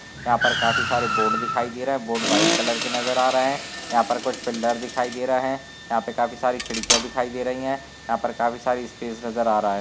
यहाँ पे काफी सारे बोर्ड दिखाई दे रहा है। बोर्ड व्हाइट कलर के नज़र आ रहे है। यहाँ पर कुछ पिल्लर दिखाई दे रही है। यहाँ पे काफी सारी खिड़कियां दिखाई दे रही है। यहाँ पर काफी सारी स्पेस नज़र आ रहा है।